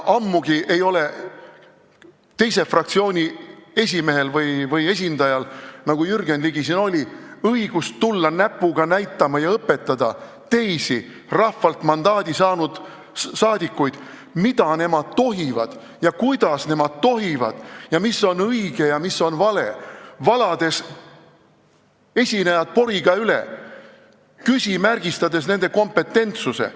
Ammugi ei ole teise fraktsiooni esimehel või esindajal, nagu Jürgen Ligil, õigust tulla näpuga näitama ja õpetama teisi rahvalt mandaadi saanud saadikuid, mida nemad tohivad ja kuidas nemad tohivad ja mis on õige ja mis on vale, valades esinejad poriga üle, küsimärgistades nende kompetentsust.